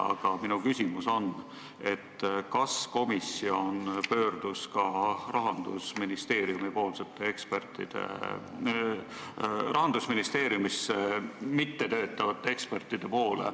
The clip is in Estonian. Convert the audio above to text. Aga minu küsimus on, kas komisjon pöördus ka Rahandusministeeriumis mittetöötavate ekspertide poole.